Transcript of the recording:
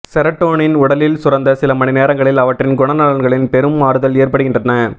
serotonin உடலில் சுரந்த சில மணி நேரங்களில் அவற்றின் குணநலன்களில் பெரும் மாறுதல் ஏற்படுகின்றன